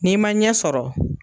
N'i ma ɲɛ sɔrɔ